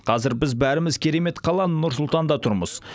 қазір біз бәріміз керемет қала нұр сұлтанда тұрмыз